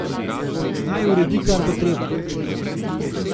Naj uredi, kar bo treba.